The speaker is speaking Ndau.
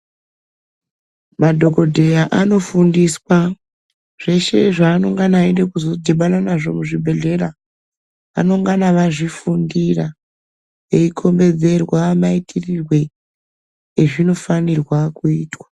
Madhokodheya anofundiswa zveshe zvavanenge veida kuzodhibana nazvo muzvibhedhlera vanongana vazvifundira eyikombedzerwa maitirwo azvinofanirwa kuitwa.